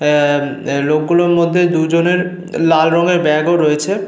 আহ ম আ লোকগুলোর মধ্যে দুজনের লাল রঙের ব্যাগ -ও রয়েছে।